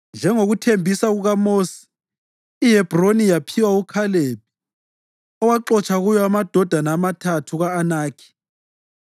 Njengokuthembisa kukaMosi, iHebhroni yaphiwa uKhalebi, owaxotsha kuyo amadodana amathathu ka-Anakhi.